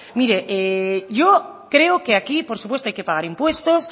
mire yo creo que aquí por supuesto hay que pagar impuestos